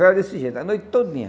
Era desse jeito, a noite todinha.